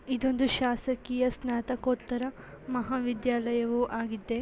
ಇದೊಂದು ಶಾಸಕೀಯ ಸ್ನಾತಕೋತ್ತರ ಮಹಾ ವಿದ್ಯಾಲಯವೂ ಆಗಿದೆ.